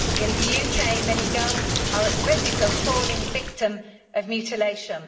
In the UK, many girls are at risk of falling victim of mutilation.